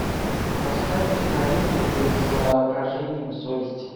поставь киноленту по изображениям совести